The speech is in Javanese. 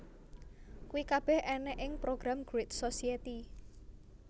Kuwi kabeh ènèk ing program Great Society